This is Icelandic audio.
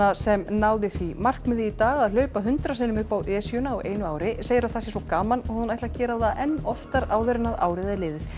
sem náði því markmiði í dag að hlaupa hundrað sinnum upp á Esjuna á einu ári segir að það sé svo gaman að hún ætli að gera það enn oftar áður en árið er liðið